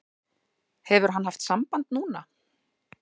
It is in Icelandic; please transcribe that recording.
Hefur hann haft samband núna?